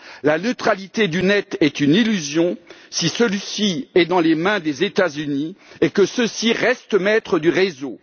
La neutralité du net est une illusion si celui ci est dans les mains des États Unis et que ceux ci restent maîtres du réseau.